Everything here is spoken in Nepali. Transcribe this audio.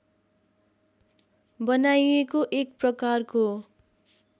बनाइएको एक प्रकारको